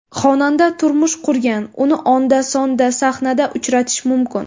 Xonanda turmush qurgan, uni onda-sonda sahnada uchratish mumkin.